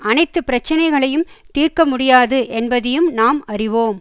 அனைத்து பிரச்சினைகளையும் தீர்க்க முடியாது என்பதையும் நாம் அறிவோம்